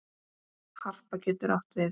Harpa getur átt við